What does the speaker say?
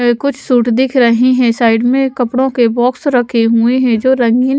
कुछ सूट दिख रहे हैं साइड में कपड़ों के बॉक्स रखे हुए हैं जो रंगीन--